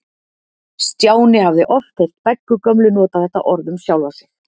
Stjáni hafði oft heyrt Beggu gömlu nota þetta orð um sjálfa sig.